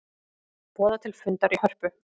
Boða til fundar í Hörpu